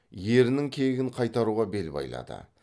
ерінің кегін қайтаруға бел байлайды